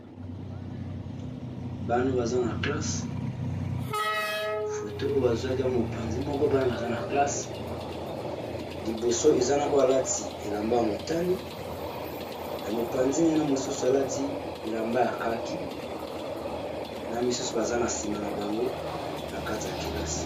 Bana baza na classe foto oyo bazwaki yango mopanzi moko bana baza na classe liboso eza na oyo alati elamba ya motane na mopanzi nyana mosusu alati elamba ya kaki na misusu baza na nsima na bango na kati ya kelasi.